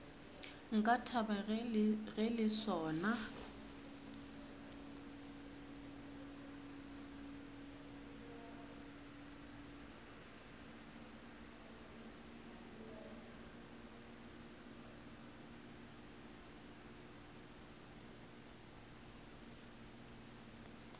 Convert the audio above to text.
nka thaba ge le sona